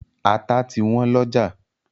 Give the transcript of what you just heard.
Ata ti wọ́n lọ́jà.